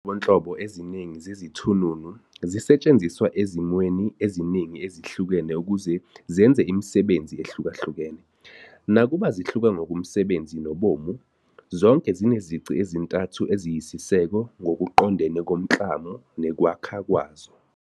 Kunezinhlobonhlobo eziningi zezithununu, zisetshenziswa ezimweni eziningi ezihlukene ukuze zenze imisebenzi ehlukahkukene. Nakuba zihluka ngokomsebenzi nobumo, zonke zinezici ezintathu eziyisiseko ngokuqondene nomklamo nekwakheka kwazo.